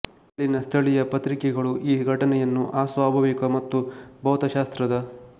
ಅಲ್ಲಿನ ಸ್ಥಳಿಯ ಪತ್ರಿಕೆಗಳು ಈ ಘಟನೆಯನ್ನು ಅಸ್ವಾಭಾವಿಕ ಮತ್ತು ಭೌತಶಾಸ್ತ್ರದ